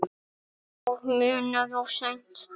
Og munað of seint.